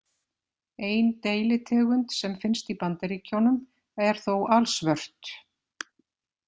Ein deilitegund sem finnst í Bandaríkjunum er þó alsvört.